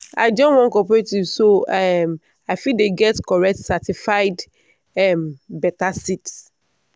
i join one cooperative so i um fit dey get correct certified um better seeds.